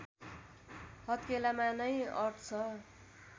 हत्केलामा नै अट्छ